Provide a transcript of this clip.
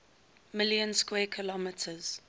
million square kilometers